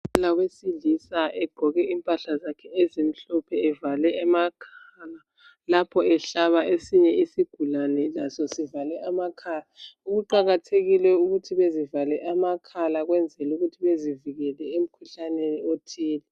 Udokotela wesilisa egqoke impahla zakhe evale amakhala lapho ehlaba esinye isigulane laso sivale amakhala. Kuqakathekile ukuthi bezivale amakhala ukwenzela ukuthu bezivikele emkhuhlaneni ethile.